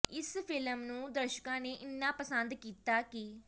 ਇਸ ਫਿਲਮ ਨੂੰ ਦਰਸ਼ਕਾਂ ਨੇ ਇੰਨਾ ਪਸੰਦ ਕੀਤਾ ਕਿ